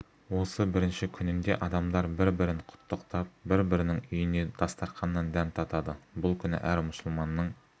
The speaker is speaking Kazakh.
осы бірінші күнінде адамдар бір-бірін құттықтап бір-бірінің үйінен дастарқаннан дәм татады бұл күні әр мұсылманның